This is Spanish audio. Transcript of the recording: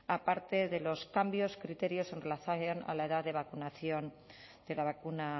aparte de los cambios criterios en relación a la edad de vacunación de la vacuna